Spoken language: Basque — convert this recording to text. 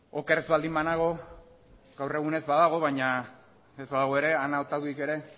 oker baldin ez banago gaur egun ez badago ere baina ana otaduik ere